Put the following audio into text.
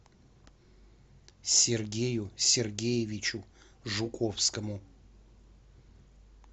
сергею сергеевичу жуковскому